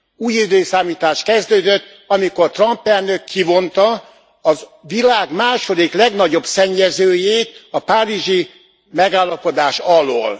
Új időszámítás kezdődött amikor Trump elnök kivonta a világ második legnagyobb szennyezőjét a Párizsi Megállapodás alól.